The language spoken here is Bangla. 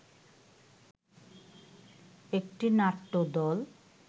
একটি নাট্যদল